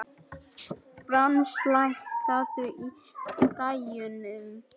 Frans, lækkaðu í græjunum.